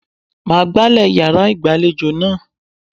Màá gbálè yàrá ìgbàlejò náà.